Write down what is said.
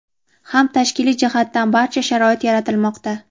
ham tashkiliy jihatdan barcha sharoit yaratilmoqda.